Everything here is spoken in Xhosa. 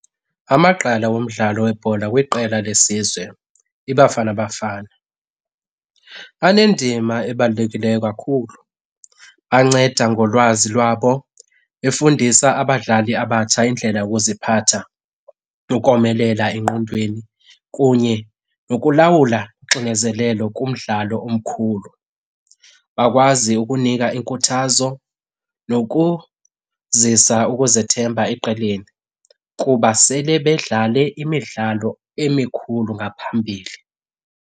Amagqala womdlalo webhola weqela lesizwe iBafana Bafana anendima ebalulekileyo kakhulu. Banceda ngolwazi lwabo efundisa abadlali abatsha indlela yokuziphatha nokomelela engqondweni kunye nokulawula uxinezelelo kumdlalo omkhulu. Bakwazi ukunika inkuthazo nokuzisa ukuzethemba eqeleni kuba sele bedlale imidlalo emikhulu ngaphambili.